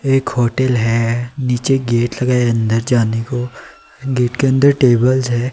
एक होटल है नीचे गेट लगा है अंदर जाने को गेट के अंदर टेबल्स है।